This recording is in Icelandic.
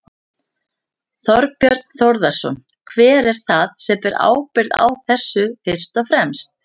Þorbjörn Þórðarson: Hver er það sem ber ábyrgð á þessu fyrst og fremst?